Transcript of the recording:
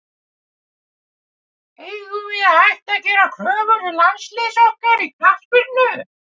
Eigum við að hætta að gera kröfur til landsliðs okkar í knattspyrnu?